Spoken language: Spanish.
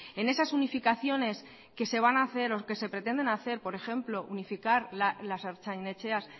en esas unificaciones que se van a hacer o que se pretenden hacer por ejemplo unificar las ertzain etxeas